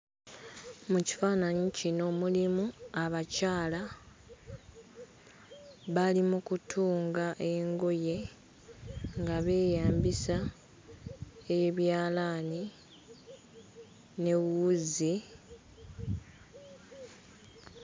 Mu kifaananyi kino mulimu abakyala bali mu kutunga engoye nga beeyambisa ebyalaani ne wuzi.